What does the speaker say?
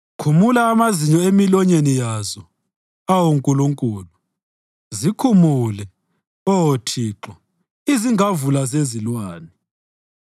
Khumula amazinyo emilonyeni yazo, awu Nkulunkulu; zikhumule, Oh Thixo, izingavula zezilwane!